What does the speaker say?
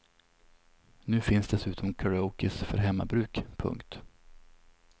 Nu finns dessutom karaokes för hemmabruk. punkt